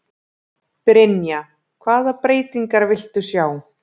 Brynja: Hvaða breytingar viltu sjá?